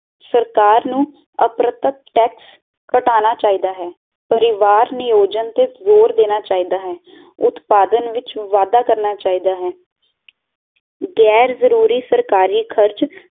ਸਰਕਾਰ ਨੂੰ ਅਪਰਤਕ ਟੈਕਸ ਕਟਾਣਾ ਚਾਹੀਦਾ ਹੈ ਪਰਿਵਾਰ ਨਿਓਜਿਨਤ ਜ਼ੋਰ ਦੇਣਾ ਚਾਹੀਦਾ ਹੈ ਉਤਪਾਦਨ ਵਿਚ ਵਾਧਾ ਕਰਨਾ ਚਾਹੀਦਾ ਹੈ